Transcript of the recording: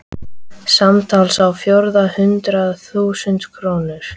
Samtals á fjórða hundrað þúsund krónur.